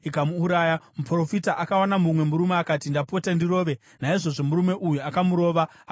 Muprofita akawana mumwe murume akati, “Ndapota, ndirove.” Naizvozvo murume uyu akamurova, akamukuvadza.